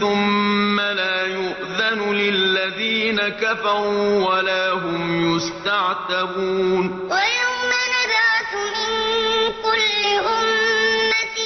ثُمَّ لَا يُؤْذَنُ لِلَّذِينَ كَفَرُوا وَلَا هُمْ يُسْتَعْتَبُونَ وَيَوْمَ نَبْعَثُ مِن كُلِّ أُمَّةٍ